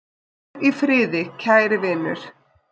Hvíl í friði, kæri vinur!